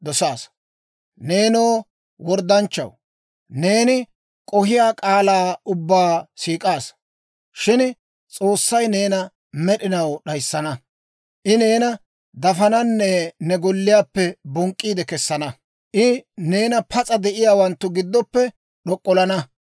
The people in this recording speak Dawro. Shin S'oossay neena med'inaw d'ayissana. I neena dafananne ne golliyaappe bonk'k'iide kessana; I neena pas'a de'iyaawanttu giddoppe d'ok'ollana.